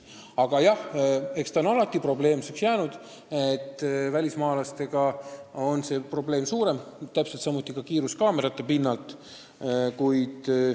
Aga jah, välismaalaste puhul on trahvi maksmise probleem suurem, seda ka kiiruskaamerate fikseeritud rikkumiste korral.